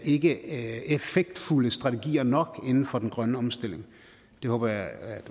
ikkeeffektfulde strategier nok inden for den grønne omstilling det håber jeg